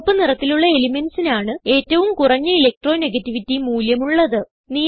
ചുവപ്പ് നിറത്തിലുള്ള elementsന് ആണ് ഏറ്റവും കുറഞ്ഞ ഇലക്ട്രോണെഗേറ്റിവിറ്റി മൂല്യം ഉള്ളത്